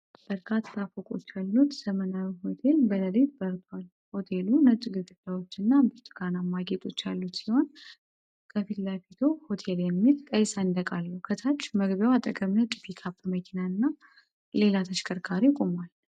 በርካታ ፎቆች ያሉት ዘመናዊ ሆቴል በሌሊት በርቷል። ሆቴሉ ነጭ ግድግዳዎችና ብርቱካናማ ጌጦች ያሉት ሲሆን፣ ከፊት ለፊቱ "ሆቴል" የሚል ቀይ ሰንደቅ አለው። ከታች መግቢያው አጠገብ ነጭ ፒክአፕ መኪና እና ሌላ ተሽከርካሪ ቆመዋል።